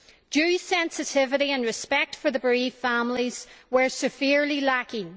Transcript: Due sensitivity and respect for the bereaved families were severely lacking.